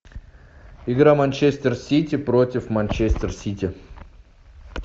игра манчестер сити против манчестер сити